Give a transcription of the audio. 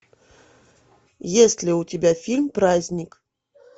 есть ли у тебя фильм праздник